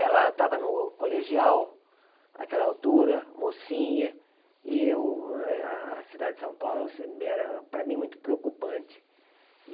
Ela estava no colegial, àquela altura, mocinha, e o eh a cidade de São Paulo era, para mim, muito preocupante.